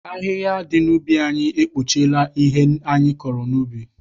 Ahịhịa dị n'ubi anyị ekpuchiela ihe anyị kụrụ n'ubi.